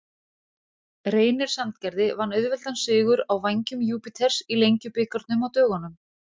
Reynir Sandgerði vann auðveldan sigur á Vængjum Júpíters í Lengjubikarnum á dögunum.